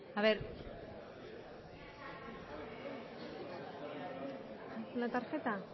espera a ver una tarjeta ay